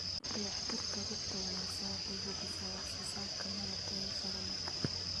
Dayactirka rugta wanaagsan waxay hubisaa wax soo saarka malab tayo sare leh.